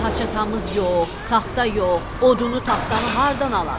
Bir haçatamız yox, taxta yox, odunu, taxtanı hardan alaq?